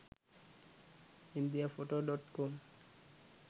india photo.com